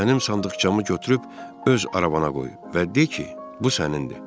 Mənim sandıqçamı götürüb öz arabana qoy və de ki, bu sənindir.